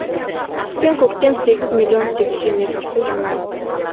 қыс пен көктем сегіз миллион текше метр су жиналады